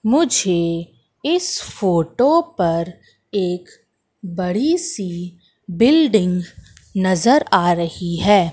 मुझे इस फोटो पर एक बड़ी सी बिल्डिंग नजर आ रही है।